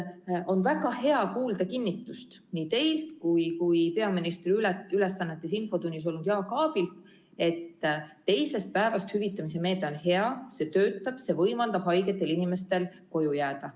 Oli väga hea kuulda kinnitust nii teilt kui ka infotunnis peaministri ülesannetes olnud Jaak Aabilt, et teisest päevast hüvitamise meede on hea, see töötab, see võimaldab haigetel inimestel koju jääda.